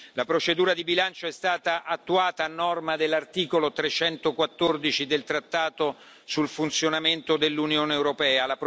La procedura di bilancio è stata attuata a norma dell'articolo 314 del trattato sul funzionamento dell'Unione europea.